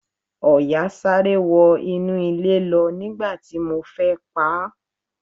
Ọ̀yà sáré wọ inú ilẹ̀ lọ nígbà tí mo fẹ́ paá.